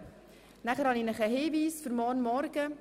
Dann habe ich noch einen Hinweis für den morgigen Vormittag: